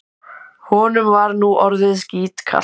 Honum var nú orðið skítkalt.